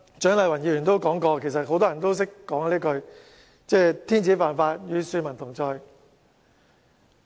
蔣麗芸議員剛才也提到，很多人都說"天子犯法，與庶民同罪"。